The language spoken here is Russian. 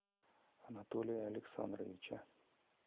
анатолия александровича